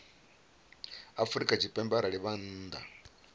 afrika tshipembe arali vha nnḓa